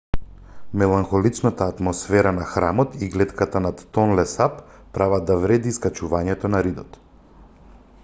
меланхоличната атмосфера на храмот и глетката над тонле сап прават да вреди искачувањето на ридот